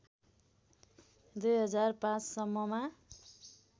२००५ सम्ममा